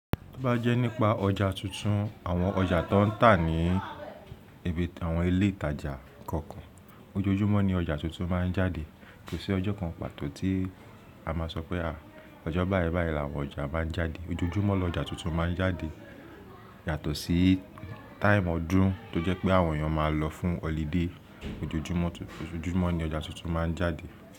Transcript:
To bá jẹ́ nípa ọjà tuntun, àwọn ọjà tó ń tà ní ibi àwọn ilé ìtajà kọ̀ọ̀kan, ojoojúmọ́ ni ọjà tuntun máa ń jáde. Kò sí ọjọ́ kan pàtó tí a máa sọ pé à, ọjọ́ báyi báyi làwọn ọjà máa ń jáde. Ojoojúmọ́ lọ ọjà tuntun máa ń jáde yàtọ̀ sí time ọdún tó jẹ́ pé àwọn èèyàn máa lọ fún holiday. Ojoojúmọ́ tun-- ojoojúmọ́ ni ọjà tuntun máa ń jáde.